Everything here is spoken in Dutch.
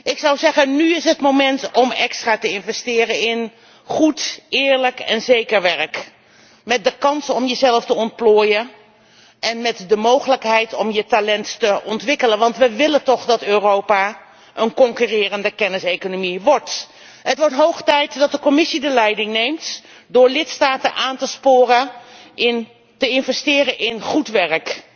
Ik zou zeggen, nu is het moment om extra te investeren in goed, eerlijk en zeker werk, met de kans om jezelf te ontplooien en met de mogelijkheid om je talent te ontwikkelen. Want we willen toch dat Europa een concurrerende kenniseconomie wordt. Het wordt hoog tijd dat de Commissie de leiding neemt door lidstaten aan te sporen te investeren in goed werk,